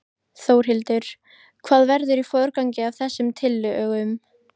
Þórhildur: Hvað verður í forgangi af þessum tillögum?